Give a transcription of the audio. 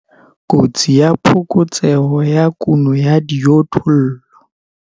Kotsi ya phokotseho ya kuno ya dijothollo.